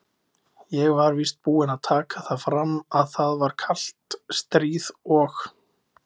Ég var víst búinn að taka það fram, að það var kalt stríð og